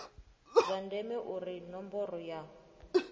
zwa ndeme uri ṋomboro ya